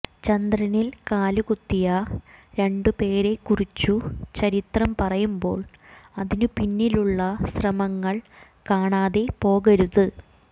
ചന്ദ്രനിൽ കാലുകുത്തിയ രണ്ടുപേരെക്കുറിച്ചു ചരിത്രം പറയുമ്പോൾ അതിനു പിന്നിലുള്ള ശ്രമങ്ങൾ കാണാതെ പോകരുത്